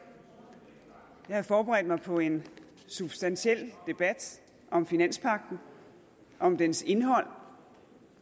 jeg havde forberedt mig på en substantiel debat om finanspagten om dens indhold